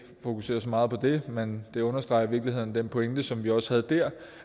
fokusere så meget på det men det understreger i virkeligheden den pointe som vi også havde der